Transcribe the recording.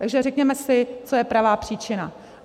Takže řekněme si, co je pravá příčina.